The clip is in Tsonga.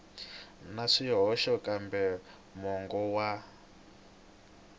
na swihoxo kambe mongo wa